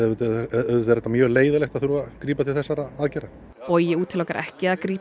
auðvitað er það mjög leiðinlegt að þurfa að grípa til þessara aðgerða bogi útilokar ekki að grípa